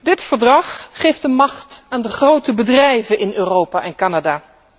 Deze overeenkomst geeft de macht aan de grote bedrijven in Europa en Canada.